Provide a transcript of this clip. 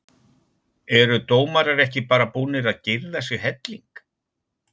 Eru dómarar ekki bara búnir að girða sig helling?